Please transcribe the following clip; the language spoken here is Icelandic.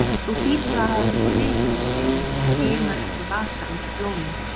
Þú hlýtur að hafa fengið vitrun, segir hún og skimar eftir vasa undir blómin.